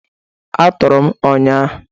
A tọọrọ m ụnyahụ.